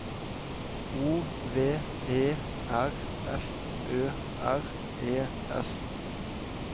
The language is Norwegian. O V E R F Ø R E S